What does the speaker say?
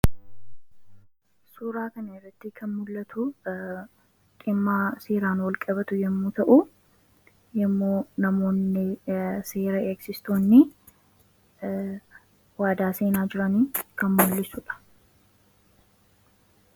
suuraa kan irratti kan mul'atu dhimma seeraan walqabatu yommu ta'uu. yeroo namoonni seera eegsistoonni waadaa seenaa jiranii kan mullisudha.